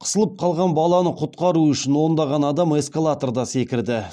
қысылып қалған баланы құтқару үшін ондаған адам эскалаторда секірді